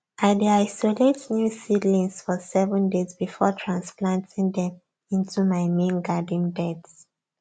i dey isolate new seedlings for seven days before transplanting them into my main garden beds